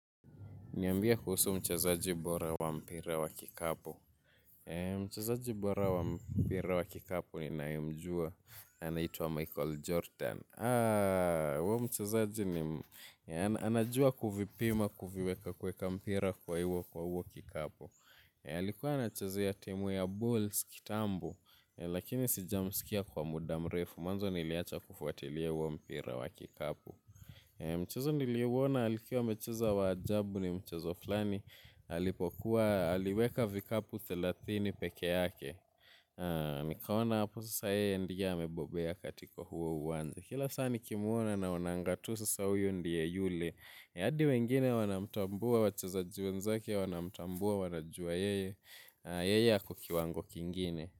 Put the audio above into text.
Niambie kuhusu mchezaji bora wa mpira wa kikapu. Mchezaji bora wa mpira wa kikapu ninayemjua. Anaitwa Michael Jordan. Huyo mchezaji nim, anajua kuvipima kuviweka kueka mpira kwa huo kikapu. Alikuwa anachezia timu ya Bulls kitambo. Lakini sijamsikia kwa muda mrefu. Mwanzo niliacha kufuatilia huo mpira wa kikapu. Mchezo niliuona alikuwa amecheza wa ajabu ni mchezo fulani. Alipokuwa, aliweka vikapu thelathini peke yake. Nikaona hapo sasa yeye ndiye amebobea katiko huo uwanja. Kila saa nikimwona naonanga tu sasa huyo ndiye yule hadi wengine wanamtambua, wachezaji wenzake, wanamtambua, wanajua yeye. Yeye ako kiwango kingine.